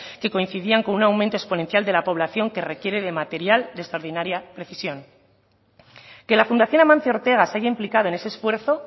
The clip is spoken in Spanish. que coincidían con un aumento exponencial de la población que requiere de material de extraordinaria precisión que la fundación amancio ortega se haya implicado en ese esfuerzo